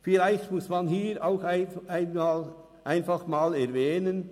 Vielleicht muss man hier einfach einmal erwähnen: